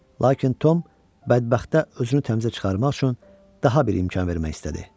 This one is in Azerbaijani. Lakin Tom bədbəxtə özünü təmizə çıxarmaq üçün daha bir imkan vermək istədi.